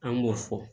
An b'o fɔ